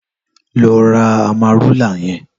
Lò rà àmárúlá yèn